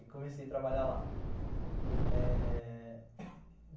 E comecei a trabalhar lá. Eh...